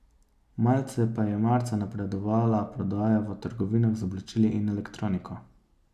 Malce pa je marca napredovala prodaja v trgovinah z oblačili in elektroniko.